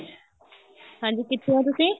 ਹਾਂਜੀ ਕਿੱਥੇ ਓ ਤੁਸੀਂ